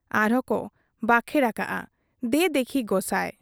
ᱟᱨᱦᱚᱸ ᱠᱚ ᱵᱟᱠᱷᱮᱬ ᱟᱠᱟᱜ ᱟ, ᱫᱮ ᱫᱮᱠᱷᱤ ᱜᱚᱸᱥᱟᱭ ᱾